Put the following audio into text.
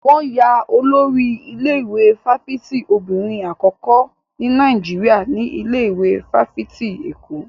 Wọn yan Olórí ilé-ìwé fáfitì obìnrin àkọ́kọ́ ní Nàìjíríà ní ilé ìwé fáfitì Èkó.